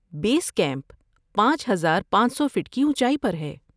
بیس camp پانچ ہزار پانچ سو فٹ کی اونچائی پر ہے